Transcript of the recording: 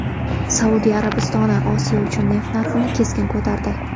Saudiya Arabistoni Osiyo uchun neft narxini keskin ko‘tardi .